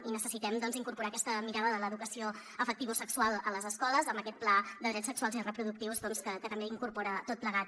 i necessitem doncs incorporar aquesta mirada de l’educació afectivosexual a les escoles amb aquest pla de drets sexuals i reproductius que ho incorpora tot plegat